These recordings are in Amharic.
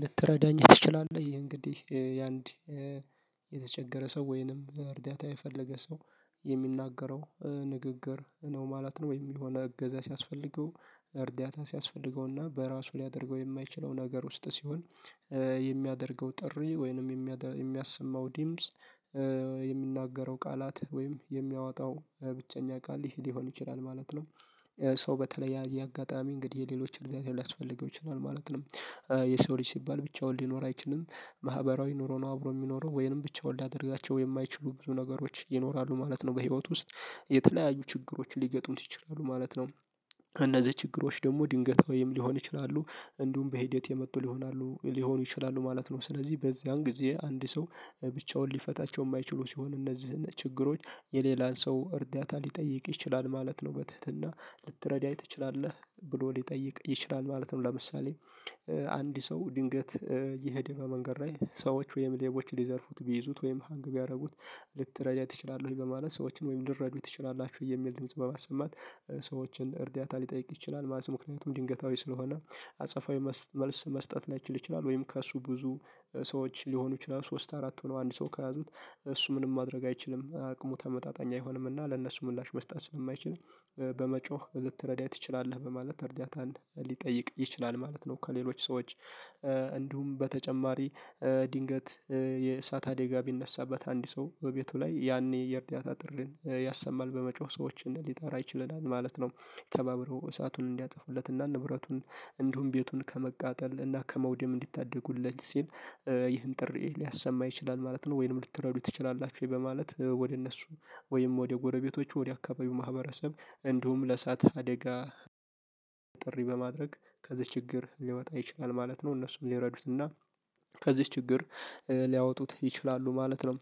ልትረዳኝ ትችላለህ እንግዲህ የአንድ የተቸገረ ሰው ወይንም እርዳታ የፈለገ ሰው የሚናገረው ንግግር ነው ማለት ነው። ወይም የሆነ እገዛ ሲያስፈልገው እርዳታ ሲያስፈልገው እና በራሱ ሊያደርገው የማይችለው ነገር ውስጥ ሲሆን የሚያደርገው ጥሪ ወይንም የሚያሰማው ዲምጽ ይሚናገ ቃላት ወይም የሚያወጣው ብቸኛ ቃል ይሄ ሊሆን ይችላል ማለት ነው። ሰው በተለያየ አጋጣሚ እንግዲህ የሌሎች እርዳታ ሊያስፈልገው ይችላል ማለት ነው። የሰው ልጅ ሲባል ብቻውን ሊኖር አይችልም ማህበራዊ ኑሮ ነው አብሮ የሚኖረው ወይንም ብቻውን ሊያደርጋቸው የማይችሉ ብዙ ነገሮች ይኖራሉ ማለት ነው። በህይወት ውስጥ የተለያዩ ችግሮች ሊገጥሙት ይችላሉ ማለት ነው። እነዚህ ችግሮች ደግሞ ድንገታዊም ወይም ሊሆን ይችላሉ እንዲሁም በሂደት የመጡ ሊሆኑ ይችላሉ ማለት ነው። ስለዚህ በዚያን ጊዜ አንድ ሰው ብቻውን ሊፈታቸው የማይችሉ ሲሆን እነዚህን ችግሮች የሌላን ሰው እርዳታ ሊጠይቅ ይችላል ማለት ነው። በትህትና ልትረዳኝ ትችላለህ ብሎ ሊጠይቅ ይችላል ማለት ነው። ለምሳሌ አንድ ሰው ድንገት እየሄደ በመንገድ ላይ ሰዎች ወይም ሌቦች ሊዘርፉት ቢይዙት ወይም ሃንግ ቢያደርጉት ልትረዳ ትችላለህ ወይ በማለት ሰዎችን ወይም ልትረዱ ትችላላችሁ የሚል ድምጽ በማሰማት ሰዎችን እርዳታ ሊጠይቅ ይችላል ማለት ነው። ምክንያቱም ድንገታዊ ስለሆነ አጸፋዊ መልስ መስጠት ላይችል ይችላል። ወይም ከእሱ ብዙ ሰዎች ሊሆኑ ይችላሉ ሶስት አራት ሆኖ አንድ ሰው ከያዙት እሱ ምንም ማድረግ አይችልም አቅሙ ተመጣጣኝ አይሆንም። እና ለነሱ ምላሽ መስጠት ስለማይችል በመጮህ ልትረዳኝ ትችላለህ በማለት እርዳታን ሊጠይቅ ይችላል ማለት ነው። ከሌሎች ሰዎች እንዲሁም በተጨማሪ ድንገት የእሳት አደጋ ቢነሳበት አንድ ሰው በቤቱ ላይ ያኔ የእርዳታ ጥሪን ያሰማል በመጮህ ሰዎችን ሊጠራ ይችላል ማለት ነው። ተባብረው እሳቱን እንዲያጠፉለት እና ንብረቱን እንዲሁም ቤቱን ከመቃጠል እና ከመውደም እንዲታደጉለት ሲል ይህን ጥሪ ሊያሰማ ይችላል ማለት ነው። ወይንም ልትረዱ ትችላላችሁ ወይ በማለት ወደ እነሱ ወይም ወደ ጎረቤቶቹ ወደ አካባቢው ማህበረሰብ እንዲሁም ለእሳት አደጋ ጥሪ በማድረግ ከዚህ ችግር ሊወጣ ይችላል ማለት ነው። እነሱም ሊረዱት እና ከዚህ ችግር ሊያወጡት ይችላሉ ማለት ነው።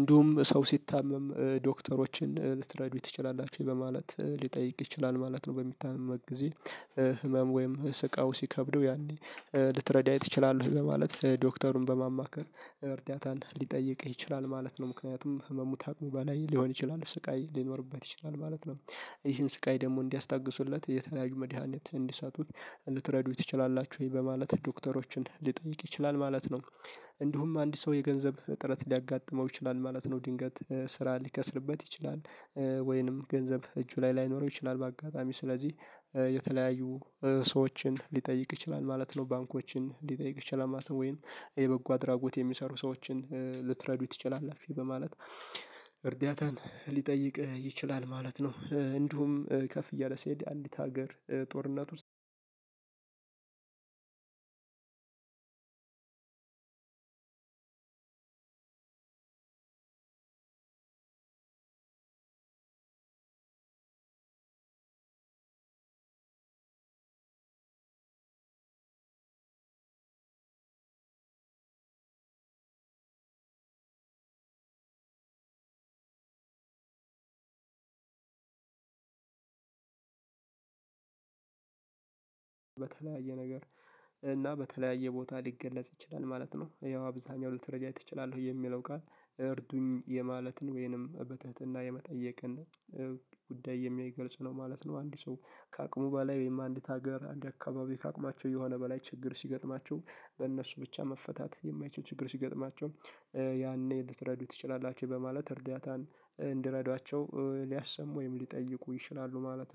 እንዲሁም ሰው ሲታመም ዶክተሮችን ልትረዱ ትችላላችሁ ወይ በማለት ሊጠይቅ ይችላል ማለት ነው። በሚታመምበት ጊዜ ህመም ወይም ስቃዩ ሲከብደው ያኔ ልትረዳኝ ትችላለህ ማለት ዶክተሩን በማማከር እርዳታን ሊጠይቅህ ይችላል ማለት ነው። ምክንያቱም ህመሙ ታቅሙ በላይ ሊሆን ይችላል ስቃይ ሊኖርበት ይችላል ማለት ነው። ይህን ስቃይ ደግሞ እንዲያስታግሱለት የተለያዩ መድሃኒት እንዲሰጡት ልትረዱኝ ትችላላችሁ ወይ በማለት ዶክተሮችን ሊጠይቅ ይችላል ማለት ነው። እንዲሁም አንድ ሰው የገንዘብ እጥረት ሊያጋጥመው ይችላል ማለት ነው። ድንገት ስራ ሊከስርበት ይችላል። ወይንም ገንዘብ እጁ ላይ ላይኖረው ይችላል በአጋጣሚ ስለዚህ የተለያዩ ሰዎችን ሊጠይቅ ይችላል ማለት ነው። ባንኮችን ሊጠይቅ ይችላል ማለት ነው። ወይንም የበጎ አድራጎት የሚሰሩ ሰዎችን ልትረዱ ትችላላችሁ በማለት እርዳታን ሊጠይቅ ይችላል ማለት ነው። እንዲሁም ከፍ እያለ ሲሄድ አንዲት ሀገር ጦርነት ውስጥ አንድ አንድ አንድ በተለያየ ነገር እና በተለያየ ቦታ ሊገለጽ ይችላል ማለት ነው። ያው አብዛኛው ልትረዳ ትችላለህ የሚለው ቃል እርዱኝ የማለትን ወይንም በትህትና የመጠየቅን ጉዳይ የሚያይ ገልጽ ነው ማለት ነው። አንድ ሰው ከአቅሙ በላይ ወይም አንዲት ሀገር አንድ አካባቢ ከአቅማቸው የሆነ በላይ ችግር ሲገጥማቸው በእነሱ ብቻ መፈታት የማይችሉ ችግር ሲገጥማቸው ያኔ ልትረዱኝ ትችላላችሁ በማለት እርዳታን እንድረዷቸው ሊያሰሙ ወይም ሊጠይቁ ይችላሉ ማለት ነው